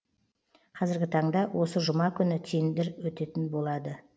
кәзіргі таңда осы жұма күні тендер өтетін болады